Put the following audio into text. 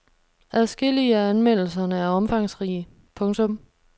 Adskillige af anmeldelserne er omfangsrige. punktum